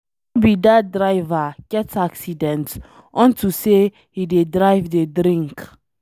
No be dat driver get accident unto say he dey drive dey drink.